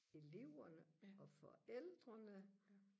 eleverne og forældrene